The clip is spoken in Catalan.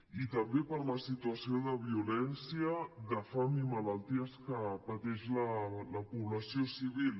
i també per la situació de violència de fam i malalties que pateix la població civil